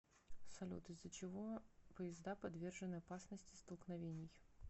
салют из за чего поезда подвержены опасности столкновений